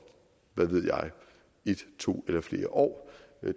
hvad ved jeg en to eller flere år